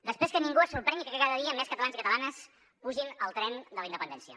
després que ningú se sorprengui que cada dia més catalans i catalanes pugin al tren de la independència